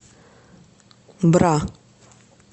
бра